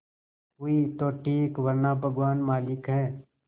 हुई तो ठीक वरना भगवान मालिक है